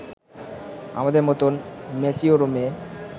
আমাদের মতন ম্যাচিওর মেয়ে